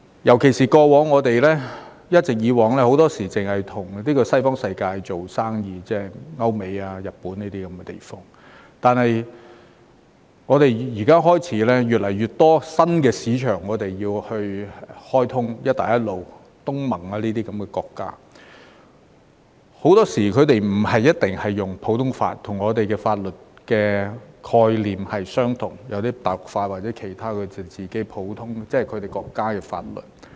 特別是，過往很多時候，我們一直也只是與西方世界做生意，例如歐美和日本等地，但我們開始有越來越多新市場需要開通，例如"一帶一路"、東盟等國家，很多時候，它們不一定採用普通法，與我們的法律概念有別，有些是用大陸法或其他它們國家自己的法律。